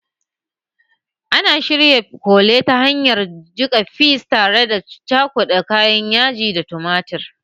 Ana shirya kole ta hanyar jika fis tare da cakuda kayan yaji da tumatir